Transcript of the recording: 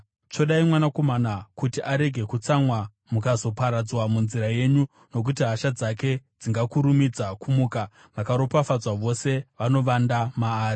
Tsvodai Mwanakomana, kuti arege kutsamwa mukazoparadzwa munzira yenyu, nokuti hasha dzake dzingakurumidza kumuka. Vakaropafadzwa vose vanovanda maari.